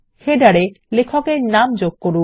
শিরলেখতে লেখক এর নাম যোগ করুন